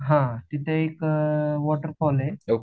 हा तिथे एक वॉटर फॉल आहे